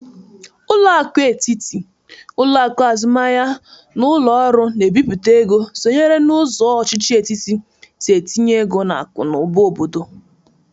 Ụlọakụ etiti, ụlọakụ azụmahia na ụlọ ọrụ na-ebipụta ego sonyere n'ụzọ ọchịchị etiti si etinye ego n'akụ na ụba obodo.